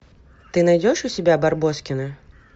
ты найдешь у себя барбоскины